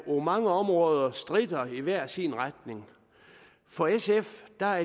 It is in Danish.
mange områder stritter i hver sin retning for sf har